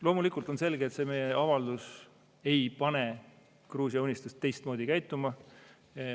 Loomulikult on selge, et see meie avaldus ei pane Gruusia Unistust teistmoodi käituma.